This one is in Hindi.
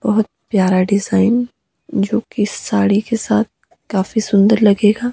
बहोत प्यार डिजाइन जो की साड़ी के साथ काफी सुंदर लगेगा।